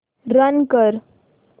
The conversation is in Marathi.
रन कर